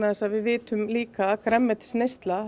við vitum líka að grænmetisneysla